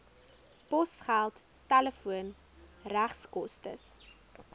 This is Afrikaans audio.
posgeld telefoon regskoste